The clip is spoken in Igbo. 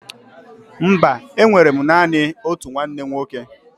Mba, enwere m naanị otu nwanne nwoke